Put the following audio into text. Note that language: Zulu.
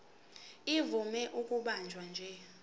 ivame ukubanjwa nje